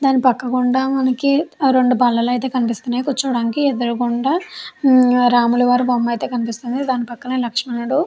దాని పక్క గుండా మనకి రెండు బల్లలైతే కనిపిస్తూ ఉన్నాయి కూర్చోవడానికి ఎదురుగుండా హా రాముల వారి బొమ్మ అయితే కనిపిస్తూ ఉంది దాన్ని పక్కనే లక్ష్మణుడు.